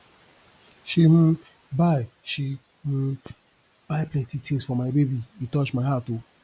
she um buy she um buy plenty tins for my baby e touch my heart o